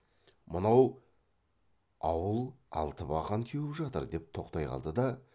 мынау ауыл алтыбақан теуіп жатыр деп тоқтай қалды да